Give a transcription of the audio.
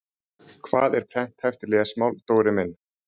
Hvað er prenthæft lesmál, Dóri minn?